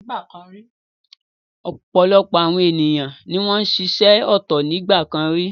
Ọ̀pọ̀lọpọ̀ àwọn ènìyàn ni wọ́n ń ṣiṣẹ́ ọ̀tọ̀ nígbà kan rí.